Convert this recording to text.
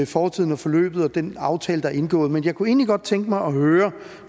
fortiden og forløbet og den aftale der er indgået men jeg kunne egentlig godt tænke mig at høre